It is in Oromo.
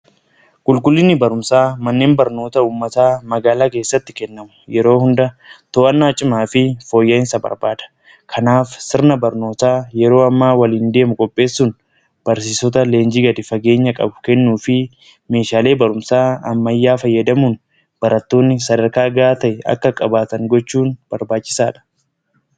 Qulqullinni barumsaa manneen barnoota uummataa magaalaa keessatti kennamu yeroo hundaa to'annaa cimaa fi fooyya'insa barbaada. Kanaaf sirna barnootaa yeroo hammaa waliin deemu qopheessuun barsiisoota leenjii gadi fageenya qabu kennuu fi meeshaalee barumsaa ammayyaa fayyadamuun barattoonni sadarkaa ga'aa ta'e akka qabaataan gochuun barbaachisaadha.